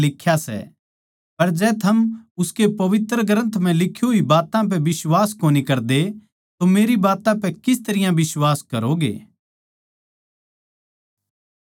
पर जै थम उसकी पवित्र ग्रन्थ म्ह लिक्खी होई बात्तां पै बिश्वास कोनी करदे तो मेरी बात्तां पै किस तरियां बिश्वास करोगे